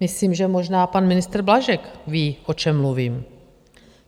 Myslím, že možná pan ministr Blažek ví, o čem mluvím.